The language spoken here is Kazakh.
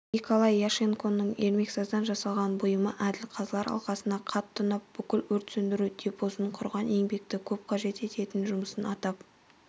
николай ященконың ермексаздан жасаған бұйымы әділ қазылар алқасына қатты ұнап бүкіл өрт сөндіру депосын құраған еңбекті көп қажет еттін жұмысы атап